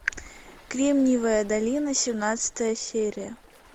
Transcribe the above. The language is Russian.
кремниевая долина семнадцатая серия